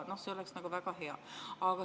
See oleks väga hea.